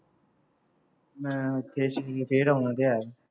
ਮੈਂ ਉੱਥੇ ਫੇਰ ਆਉਣਾ ਤਾਂ ਹੈ,